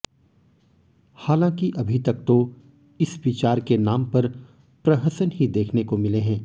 हालांकि अभी तक तो इस विचार के नाम पर प्रहसन ही देखने को मिले हैं